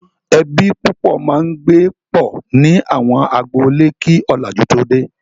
Ẹbí púpọ̀ máa ń gbé pọ̀ ní àwọn agboolé kí ọ̀làjú tó dé.